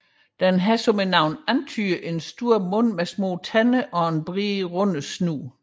Den har som navnet antyder en stor mund med små tænder og en bred rundet snude